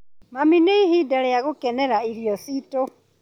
Mami, nĩ ihinda rĩa gũkenera irio ciitũ.